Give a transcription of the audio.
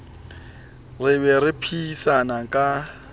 re be re phehisane ka